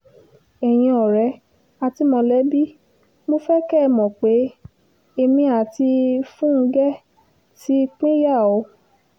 ẹ̀yin ọ̀rẹ́ àti mọ̀lẹ́bí mo fẹ́ kẹ́ ẹ mọ̀ pé èmi àti fúnge ti pínyà o